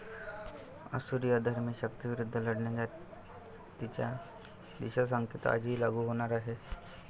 असुरी अधर्मी शक्तींविरुद्ध लढण्याचा तिचा दिशासंकेत आजही लागू होणार आहे.